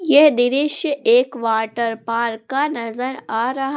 यह दृश्य एक वॉटर पार्क का नजर आ रहा--